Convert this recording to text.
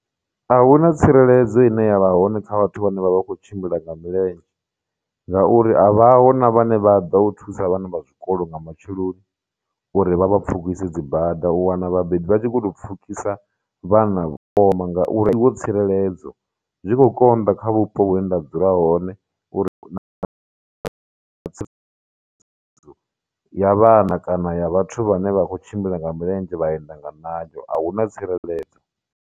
Ahuna tsireledzo ine yavha hone kha vhathu vhane vha vha khou tshimbila nga milenzhe, ngauri a vha ho na vhane vha ḓa u thusa vhana vha zwikolo nga matsheloni uri vha vha pfhukise dzibada, u wana vhabebi vha tshi kho tou pfhukisa vhana ngauri wo tsireledzo, zwi khou konḓa kha vhupo hune nda dzula hone uri ya vhana kana ya vhathu vhane vha khou tshimbila nga milenzhe, vha enda nga ṋayo, ahuna tsireledzo.